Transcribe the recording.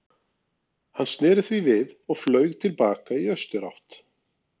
Hann sneri því við og flaug til baka í austurátt.